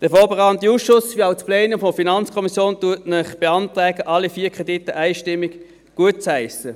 Der vorberatende Ausschuss wie auch das Plenum der FiKo beantragen Ihnen, alle vier Kredite einstimmig gutzuheissen.